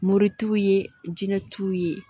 Moritu ye jinɛ t'u ye